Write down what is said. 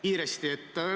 Kiiresti.